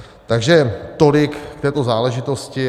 Takže tolik k této záležitosti.